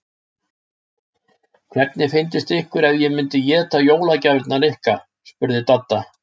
Hvernig fyndist ykkur ef ég myndi éta jólagjafirnar ykkar? spurði Dadda.